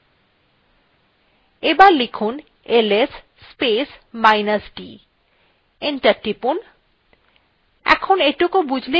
enter টিপুন